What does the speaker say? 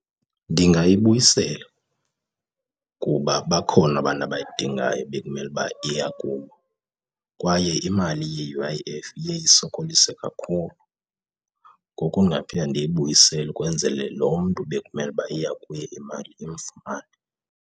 Ndingayibuyisela kuba bakhona abantu abayidingayo bekumele ukuba iya kubo kwaye imali ye-U_I_F iye isokolise kakhulu. Ngoku ndingaphinda ndiyibuyisele ukwenzele lo mntu bekumele ukuba iya kuye imali imfumane.